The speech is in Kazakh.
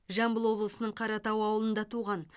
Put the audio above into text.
жамбыл облысының қаратау ауылында туған